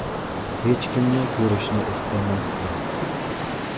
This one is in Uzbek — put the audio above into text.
Hech kimni ko‘rishni istamasdim.